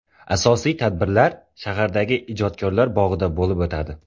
Asosiy tadbirlar shahardagi ijodkorlar bog‘ida bo‘lib o‘tadi.